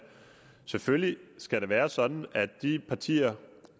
selvfølgelig skal være sådan at de partier